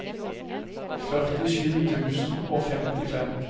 førtisju tusen og femtifem